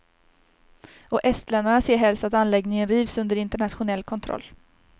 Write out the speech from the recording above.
Och estländarna ser helst att anläggningen rivs under internationell kontroll.